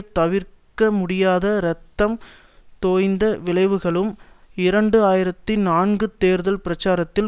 தவிர்க்க முடியாத இரத்தம் தோய்ந்த விளைவுகளும் இரண்டு ஆயிரத்தி நான்கு தேர்தல் பிரச்சாரத்தில்